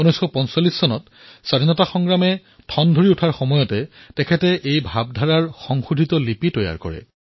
পিছলৈ ১৯৪৫ চনত যেতিয়া স্বতন্ত্ৰতা সংগ্ৰাম অধিক শক্তিশালী হৈ পৰিল তেতিয়া তেওঁ সেই চিন্তাধাৰাৰ সংশোধনী ৰূপ প্ৰস্তুত কৰিলে